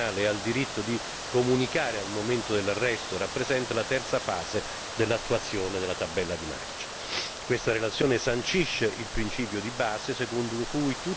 La proposta di direttiva relativa al diritto di accesso a un difensore nel procedimento penale e al diritto di comunicare al momento dell'arresto rappresenta la terza fase dell'attuazione della tabella di marcia.